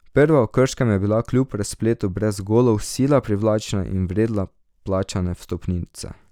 Prva v Krškem je bila kljub razpletu brez golov sila privlačna in vredna plačane vstopnice.